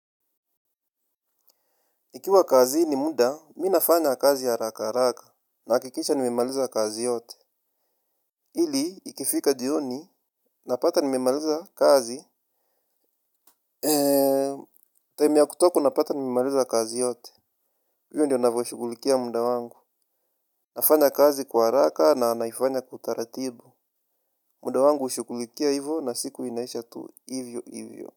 Ikiwa kazini muda, mi nafanya kazi haraka araka. Nakikisha nimemaliza kazi yote. Ili, ikifika jioni, napata nimemaliza kazi. Eee Time ya kutoka napata nimemaliza kazi yote. Huyo ndiyo na vashukulikia muda wangu. Nafanya kazi kwa raka na naifanya kwa utaratibu. Muda wangu ushukulikia hivo na siku inaisha tu hivyo hivyo.